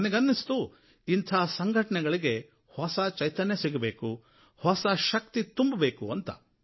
ನನಗೆ ಅನ್ನಿಸ್ತು ಇಂಥ ಸಂಘಟನೆಗಳಿಗೆ ಹೊಸ ಚೈತನ್ಯ ಸಿಗಬೇಕು ಹೊಸ ಶಕ್ತಿ ತುಂಬಬೇಕು ಅಂತ